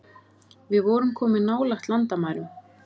Við vorum komin nálægt landamærum